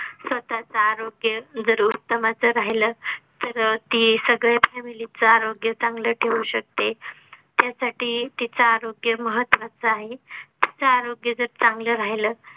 स्वतःच आरोग्य जर उत्तमाचा असं राहिलं तर ती सगळी Family चं आरोग्य चांगलं ठेवू शकते. त्यासाठी तीच आरोग्य महत्त्वाचे आहे तीच आरोग्य जर चांगलं राहिलं